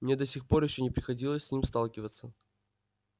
мне до сих пор ещё не приходилось с ним сталкиваться